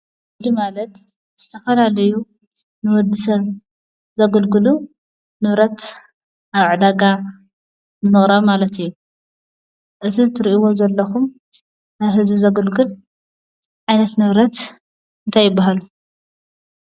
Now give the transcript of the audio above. ንግዲ ማለት ዝተፈላለዩ ንወዲ ሰብ ዘገልግሉ ንብረት ኣብ ዕዳጋ ምቕራብ ማለት እዩ፡፡ እዚ ትርእይዎ ዘለኹም ንህዝቢ ዘግልግል ዓይነት ንብረት እንታይ ይበሃል?